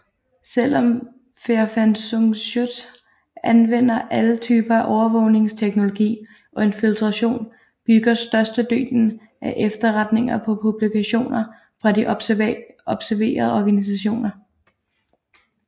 Selv om Verfassungsschutz anvender alle typer af overvågningsteknologi og infiltration bygger størstedelen af efterretningerne på publikationer fra de observerede organisationer